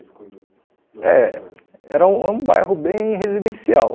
quando... É, era um bairro bem residencial.